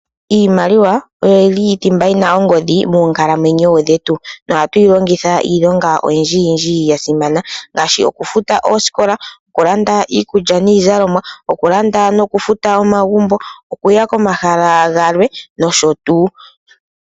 Iimaliwa oyo yi li thimba yi na ongodhi moonkalamwenyo dhetu. Nohatu yi longitha iilonga oyindjiyindji ya simana ngaashi oku futa oosikola, oku landa iikulya niizalomwa, oku landa noku futa omagumbo nokuya komahala galwe nosho tuu.